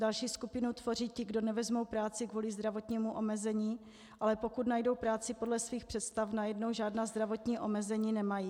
Další skupinu tvoří ti, kdo nevezmou práci kvůli zdravotnímu omezení, ale pokud najdou práci podle svých představ, najednou žádná zdravotní omezení nemají.